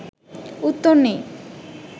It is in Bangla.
উত্তর নেই